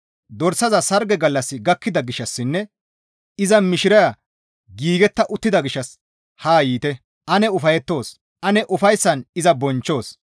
Dorsaza sarge gallassi gakkida gishshassinne iza mishiraya giigetta uttida gishshas haa yiite; ane ufayettoos! Ane ufayssan iza bonchchoos.